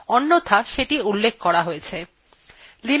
linuxa প্রায় সবকিছুis একটি file